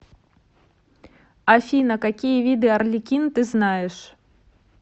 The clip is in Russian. афина какие виды арлекин ты знаешь